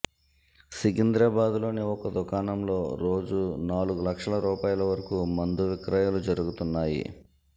సికింద్రాబాద్లోని ఒక దుకాణంలో రోజూ నాలుగు లక్షల రూపాయల వరకు మందు విక్రయాలు జరుగుతున్నాయి